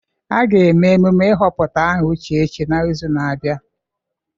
A ga-eme emume ịhọpụta aha Uchechi n'izu na-abịa.